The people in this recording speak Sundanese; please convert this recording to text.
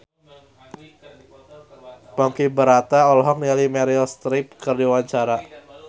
Ponky Brata olohok ningali Meryl Streep keur diwawancara